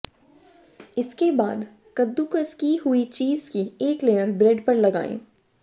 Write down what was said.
इसके बाद कद्दूकस किये हुए चीज की एक लेयर ब्रेड पर लगाएं